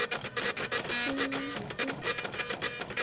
heitu vatni.